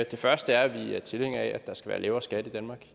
det første er vi tilhængere af at der skal være lavere skat i danmark